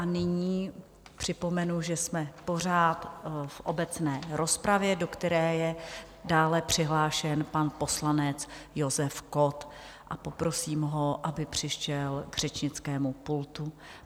A nyní připomenu, že jsme pořád v obecné rozpravě, do které je dále přihlášen pan poslanec Josef Kott, a poprosím ho, aby přišel k řečnickému pultu.